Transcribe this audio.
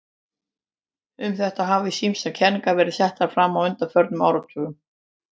Um þetta hafa ýmsar kenningar verið settar fram á undanförnum áratugum.